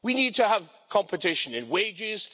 We need to have competition in wages.